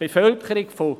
Die Bevölkerung von …